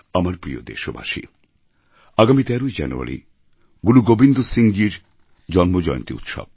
আমার প্রিয় দেশবাসী আগামী ১৩ই জানুয়ারি গুরু গোবিন্দ সিংএর জন্ম জয়ন্তী উৎসব